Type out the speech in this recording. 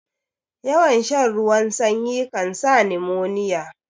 Yawan shan ruwan sanyi kansa nimoniya